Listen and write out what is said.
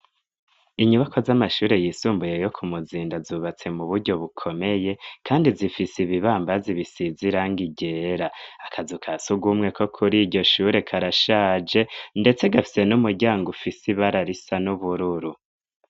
Inyubakwa z'amashure yisumbuye yo ku Muzinda zubatse mu buryo bukomeye kandi zifise ibibambazi bisize irangi ryera. Akazu ka Surwumwe ko kuri iryo shure karashaje, ndetse gafise n'umuryango ufise ibara risa n'ubururu.